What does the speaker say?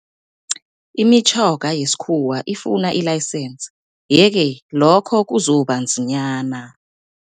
Imitjhoga yesikhuwa ifuna i-license, ye-ke lokho kuzobanzinyana.